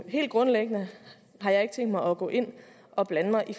helt grundlæggende har jeg ikke tænkt mig at gå ind og blande mig i